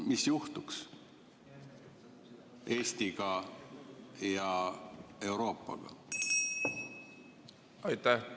Mis juhtuks Eestiga ja Euroopaga?